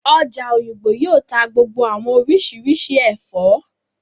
Ọjà Òyìngbò yóò tá gbogbo àwọn oríṣiríṣi ẹ̀fọ́